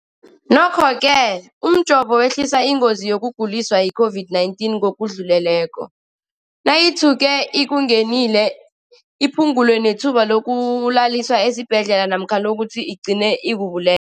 Nokho-ke umjovo wehlisa ingozi yokuguliswa yi-COVID-19 ngokudluleleko, nayithuke ikungenile, iphu ngule nethuba lokuyokulaliswa esibhedlela namkha lokuthi igcine ikubule